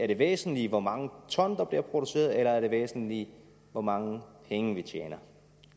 det væsentlige hvor mange ton der bliver produceret eller er det væsentlige hvor mange penge vi tjener